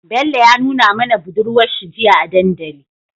Bello ya nuna mana budurwar shi jiya a dandali